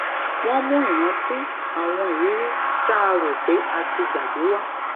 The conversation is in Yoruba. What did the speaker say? wón mú iranti àwọn iriri tá a rò pé a ti gbàgbé wa